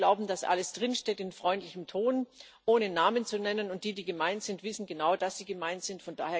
Wir glauben, dass alles drinsteckt in freundlichem Ton, ohne Namen zu nennen, und diejenigen, die gemeint sind, wissen genau, dass sie gemeint sind.